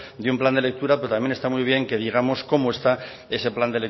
de un plan de lectura pero también está muy bien que digamos cómo está ese plan